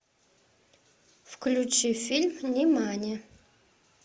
включи фильм нимани